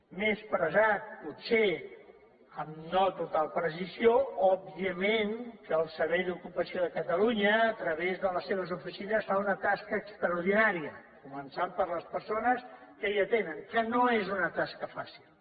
m’he expressat potser no amb total precisió òbviament que el servei d’ocupació de catalunya a través de les seves oficines fa una tasca extraordinària començant per les persones que hi atenen que no és una tasca fàcil